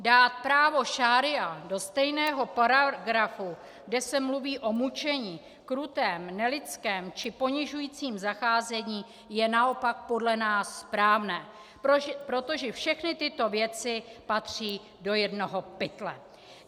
Dát právo šaría do stejného paragrafu, kde se mluví o mučení, krutém, nelidském či ponižujícím zacházení, je naopak podle nás správné, protože všechny tyto věci patří do jednoho pytle.